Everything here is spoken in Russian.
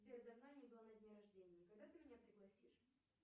сбер давно я не была на дне рождения когда ты меня пригласишь